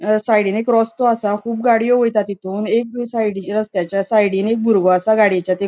साइडीन एक रस्तो असा कुब गाड़ियों वैता तीतुन एक बी साइडीन रसत्याचा साइडीन एक बुरगो असा गाडीएच्या ते --